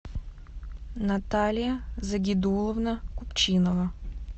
наталья загидуловна купчинова